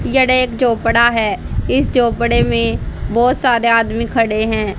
यड एक झोपडा है इस झोपड़े मे बहोत सारे आदमी खड़े है।